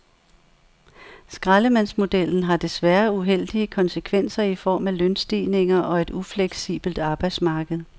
Skraldemandsmodellen har desværre uheldige konsekvenser i form af lønstigninger og et ufleksibelt arbejdsmarked.